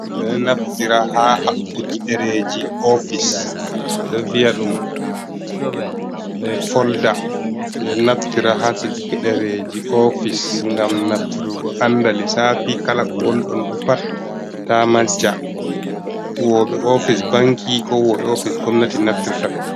Ɓedo naftira ha habɓuki ɗereji ofis, ɓeɗo viya ɗum folda ɓeɗo naftira ha cijuki ɗereji ofis, ngam naftirugo anda lisafi kala ko wonɗonɗo pat ta majja, huwoɓe ofis banki, ko huwoɓe ofis gomnati naftirta ɗum.